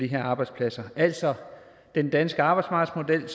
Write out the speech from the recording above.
her arbejdspladser altså den danske arbejdsmarkedsmodel